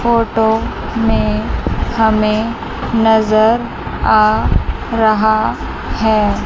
Photo में हमें नजर आ रहा है।